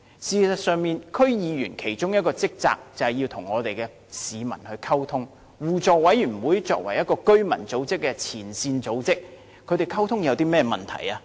事實上，區議員的其中一項職責，就是與市民溝通，而互委會作為前線居民組織，他們互相溝通有甚麼問題？